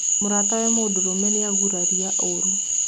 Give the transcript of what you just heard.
Mũratawe mũndũrũme nĩagurarirĩ ũru